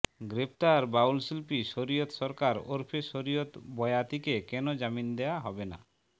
গ্রেপ্তার বাউলশিল্পী শয়িরত সরকার ওরফে শরিয়ত বয়াতিকে কেন জামিন দেয়া হবে না